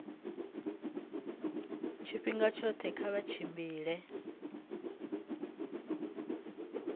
tshifhinga tshoṱhe kha vha tshimbile